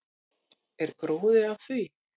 Er gróði af því?